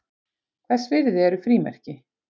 Hvers virði eru frímerki?